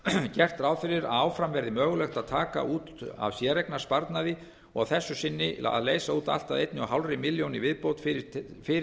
gert ráð fyrir að áfram verði mögulegt að taka út af séreignarsparnaði og að þessu sinni að leysa út allt að eins og hálfa milljón í viðbót fyrir